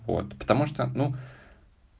вот потому что ну